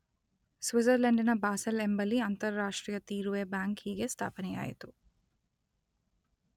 ಸ್ವಿಟ್ಜರ್ಲೆಂಡಿನ Basel ಎಂಬಲ್ಲಿ ಅಂತಾರಾಷ್ಟ್ರೀಯ ತೀರುವೆ ಬ್ಯಾಂಕ್ ಹೀಗೆ ಸ್ಥಾಪನೆಯಾಯಿತು.